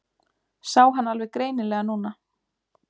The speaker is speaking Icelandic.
Sá hann alveg greinilega núna.